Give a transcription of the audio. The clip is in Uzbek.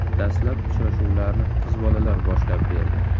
Dastlab uchrashuvlarni qiz bolalar boshlab berdi.